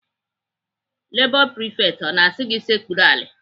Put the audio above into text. Lebọ prifekt ọ na-asị gị sekpuru ala?